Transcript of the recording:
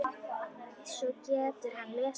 Svo getur hann lesið.